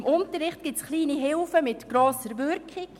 Im Unterricht gibt es kleine Hilfestellungen mit grosser Wirkung.